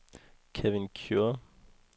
Kevin Kure